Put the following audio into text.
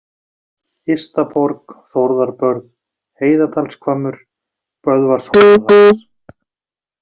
Ystaborg, Þórðarbörð, Heiðadalshvammur, Böðvarshólahlass